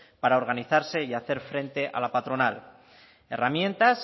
para organizarse y hacer frente a la patronal herramientas